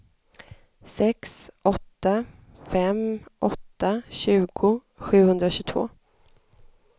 sex åtta fem åtta tjugo sjuhundratjugotvå